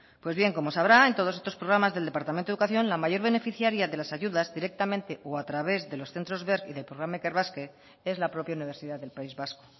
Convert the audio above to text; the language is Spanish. pues bien como sabrá en todos estos programas del departamento de educación la mayor beneficiaria de las ayudas directamente o a través de los centro berc y del programa ikerbasque es la propia universidad del país vasco